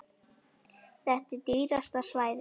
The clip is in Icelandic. Þetta er dýrasta svæðið.